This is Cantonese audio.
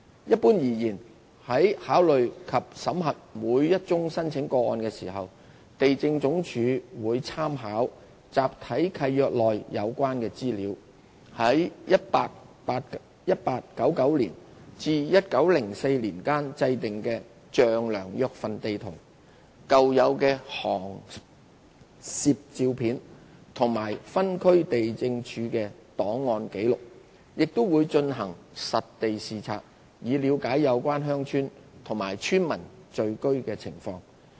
一般而言，在考慮及審核每宗申請個案時，地政總署會參考集體契約內有關的資料、在1899年至1904年間制訂的丈量約份地圖、舊有的航攝照片及分區地政處的檔案紀錄，亦會進行實地視察，以了解有關鄉村及村民聚居的情況。